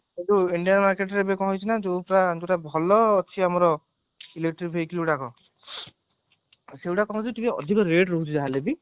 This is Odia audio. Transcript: କିନ୍ତୁ india marketରେ କଣ ହେଇଛି ନା ଯୋଉଟା ପୁରା ଭଲ ଅଛି ଆମର electric vehicle ଗୁଡାକ ସେଇଗୁଡାକ କଣ ହଔଚି ଅଧିକ rate ରହୁଛି ଯାହାହେଲେ ବି